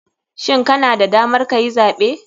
Shin kana da damar kayi zaɓe?